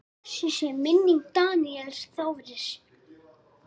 Blessuð sé minning Daníels Þóris.